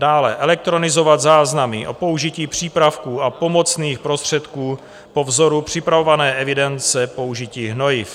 Dále - elektronizovat záznamy o použití přípravků a pomocných prostředků po vzoru připravované evidence použití hnojiv.